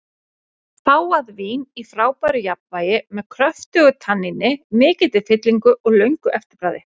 Fágað vín í frábæru jafnvægi, með kröftugu tanníni, mikilli fyllingu og löngu eftirbragði.